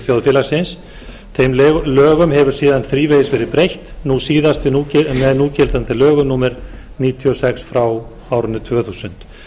þjóðfélagsins þeim lögum hefur síðan þrívegis verið breytt nú síðast með núgildandi lögum númer níutíu og sex tvö þúsund